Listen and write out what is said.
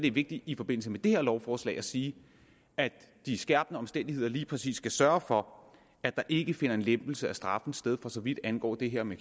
er vigtigt i forbindelse med det her lovforslag at sige at de skærpende omstændigheder lige præcis skal sørge for at der ikke finder en lempelse af straffen sted for så vidt angår det her med